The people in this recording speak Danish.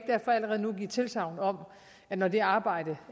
allerede nu give tilsagn om at når det arbejde